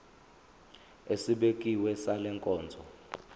esibekiwe sale nkonzo